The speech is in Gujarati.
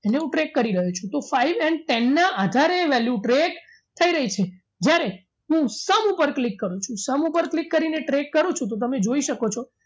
એને હું track કરી રહ્યો છુંતો five and ten ના આધારે એ value track થઈ રહી છે જ્યારે હું sum ઉપર click કરું છું sum ઉપર click કરીને track કરું છું તો તમે જોઈ શકો છો